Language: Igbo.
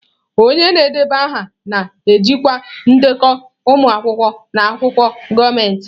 Onye na-edeba aha na-ejikwa ndekọ ụmụ akwụkwọ na akwụkwọ gọọmentị.